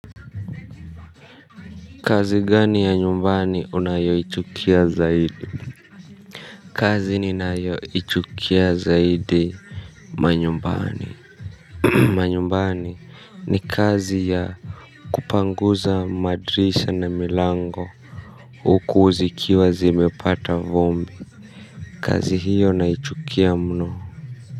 Kazi gani ya nyumbani unayoichukia zaidi? Kazi ninayoichukia zaidi. Manyumbani, manyumbani ni kazi ya kupanguza madirisha na milango. Huku zikiwa zimepata vumbi. Kazi hiyo naichukia mno.